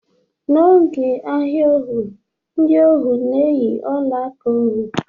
N'oge ahia ohu, ndị ohu na-eyi ọla aka ohu